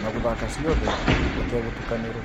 na guthaka cĩothe utegutukanirwo